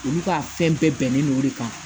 Olu ka fɛn bɛɛ bɛnnen don o de kan